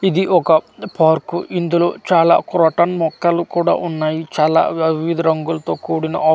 ఇది ఒక పార్కు ఇందులో చాలా క్రోటన్ మొక్కలు కూడా ఉన్నాయి చాలా వివిధ రంగులతో కూడిన ఆకులు ఉన్నా-- .